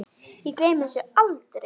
Ég gleymi þessu aldrei!